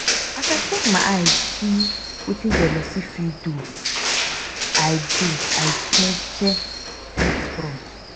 as i take my eye see wetin jealousy fit do i do i jeje face front.